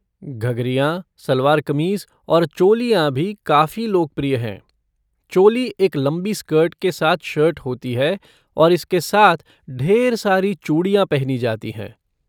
घघरियाँ, सलवार कमीज़ और चोलियाँ भी काफ़ी लोकप्रिय हैं। चोली एक लंबी स्कर्ट के साथ शर्ट होती है और इसके साथ ढेर सारी चूड़ियाँ पहनी जाती हैं।